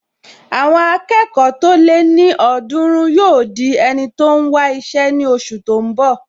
Àwọn akẹ́kọ̀ọ́ tó lé ní ọ̀ọ́dúrún yóò di ẹni tó n wá iṣẹ́ ní oṣù tó n bọ̀